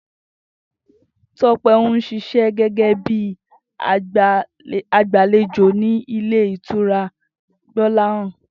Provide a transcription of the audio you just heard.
Tó̩pé̩ ń s̩is̩é̩ gégé bí agbàlejò ní ilé ìtura Gbó̩láhàn